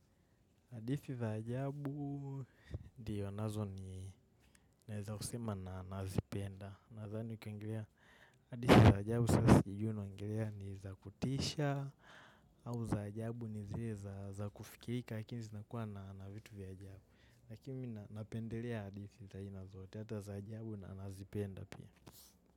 Hadithi za ajabu ndiyo, nazo ni naeza kusema na nazipenda. Nadhani kwengelea hadithi za ajabu sasijui unaongelea ni za kutisha au za ajabu ni zile za kufikirika haki zinakuwa na na vitu vya ajabu. Lakimi napendelea hadithi za aina zote, hata za ajabu nanazipenda pia.